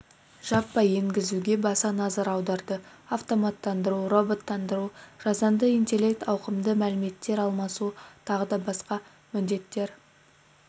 жаппай енгізуге баса назар аударды автоматтандыру роботтандыру жасанды интеллект ауқымды мәліметтер алмасу тағы басқа міндеттер